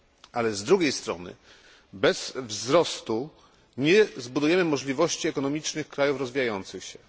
Ale z drugiej strony bez wzrostu nie zbudujemy możliwości ekonomicznych krajów rozwijających się.